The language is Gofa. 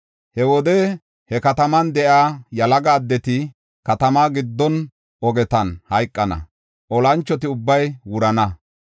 He wode he kataman de7iya yalaga addeti katamaa giddo ogetan hayqana; olanchoti ubbay wurana.